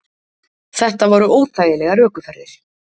Þetta voru óþægilegar ökuferðir.